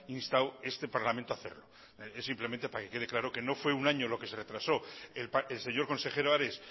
instado este parlamento a hacerlo es simplemente para que quede claro que no fue un año lo que se retrasó el señor consejero ares